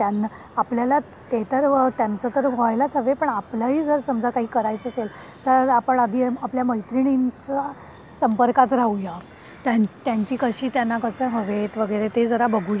आपल्याला ते तर त्यांचा तर व्हायलाच हवे पण आपल्याला ही जर समजा काही करायचे असेल तर आपण आधी आपल्या मैत्रिणी चा संपर्कात राहू या. त्यांची कशी त्यांना कसं हवेत वगैरे ते जरा बघू या नाही